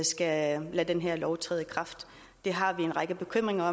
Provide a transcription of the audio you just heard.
skal lade den her lov træde i kraft vi har en række bekymringer